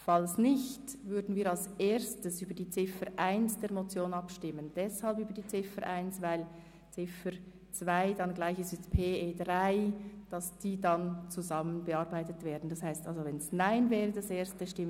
Falls nicht, würden wir als Erstes über die Ziffer 1 der Motion abstimmen, weil die Ziffer 2 gleich ist wie die Planungserklärung 3. Danach würden wir über die Planungserklärung 5, Etter, abstimmen.